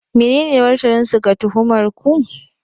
Menene martaninsu ga tuhumar ku?